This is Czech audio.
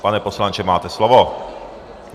Pane poslanče, máte slovo.